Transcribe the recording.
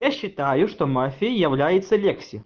я считаю что мафией является лекси